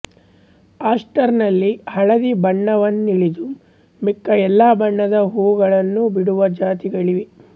ಆಸ್ಟರ್ನಲ್ಲಿ ಹಳದಿ ಬಣ್ಣವನ್ನುಳಿದು ಮಿಕ್ಕ ಎಲ್ಲ ಬಣ್ಣದ ಹೂಗಳನ್ನೂ ಬಿಡುವ ಜಾತಿಗಳಿವೆ